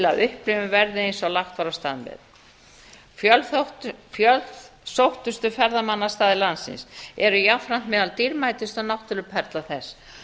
að upplifunin verði eins og lagt var af stað með fjölsóttustu ferðamannastaðir landsins eru jafnframt meðal dýrmætustu náttúruperlna þess